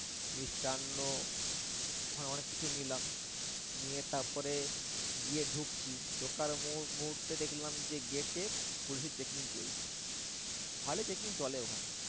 মিষ্টান্ন ওখানে অনেককিছু নিলাম। নিয়ে তারপরে গিয়ে ঢুকছি ঢোকার মুহু মুহূর্তে দেখলাম যে gate এ পুলিশের checking চলছে। ভালোই checking চলে ওখানে।